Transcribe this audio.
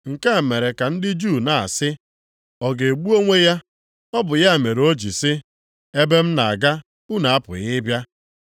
Nke a mere ka ndị Juu na-asị, “Ọ ga-egbu onwe ya? Ọ bụ ya mere o ji sị, ‘Ebe m na-aga unu apụghị ị bịa’?”